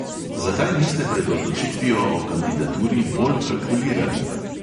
Zakaj niste pred odločitvijo o kandidaturi bolj kalkulirali?